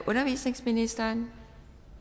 undervisningsministeren